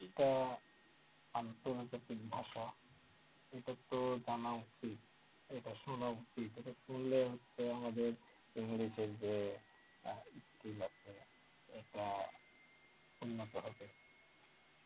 এটা আন্তর্জাতিক ভাষা এটা তো জানা উচিত এটা শোনা উচিত এটা শুনলে হচ্ছে আমাদের ইংলিশের যে আহ এটা উন্নত হবে